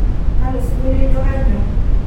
kalo singolio ijo kanyor